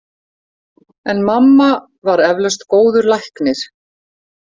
En mamma var eflaust góður læknir.